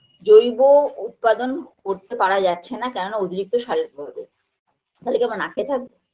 জৈব উৎপাদন করতে পারা যাচ্ছেনা কেননা অতিরিক্ত সারের অভাবে তালে কী আমরা না খেয়ে থাকবো